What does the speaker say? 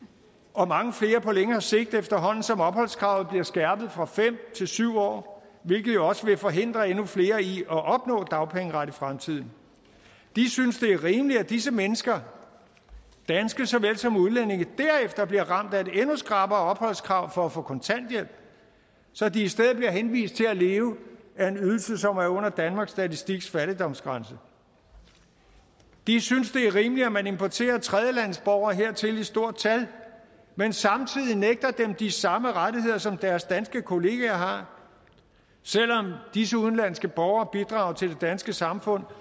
og mange flere på længere sigt efterhånden som opholdskravet bliver skærpet fra fem år til syv år hvilket jo også vil forhindre endnu flere i at opnå dagpengeret i fremtiden de synes det er rimeligt at disse mennesker danskere såvel som udlændinge derefter bliver ramt af et endnu skrappere opholdskrav for at få kontanthjælp så de i stedet bliver henvist til at leve af en ydelse som er under danmarks statistiks fattigdomsgrænse de synes det er rimeligt at man importerer tredjelandsborgere hertil i stort tal men samtidig nægter dem de samme rettigheder som deres danske kollegaer har selv om disse udenlandske borgere bidrager til det danske samfund